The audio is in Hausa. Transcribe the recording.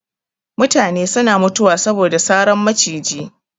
Mutane suna mutuwa saboda saran maciji